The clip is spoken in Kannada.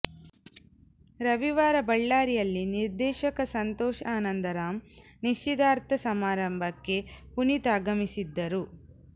ರವಿವಾರ ಬಳ್ಳಾರಿಯಲ್ಲಿ ನಿರ್ದೇಶಕ ಸಂತೋಷ ಆನಂದರಾಮ್ ನಿಶ್ಚಿತಾರ್ಥ ಸಮಾರಂಭಕ್ಕೆ ಪುನೀತ್ ಆಗಮಿಸಿದ್ದರು